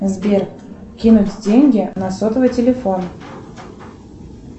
сбер кинуть деньги на сотовый телефон